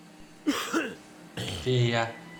фея